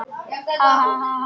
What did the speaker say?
Megi Dúa hvíla í friði.